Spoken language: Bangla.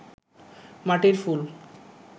মাটির ফুল